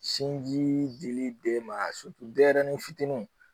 Sinji di dili den ma a denyɛrɛnin fitininw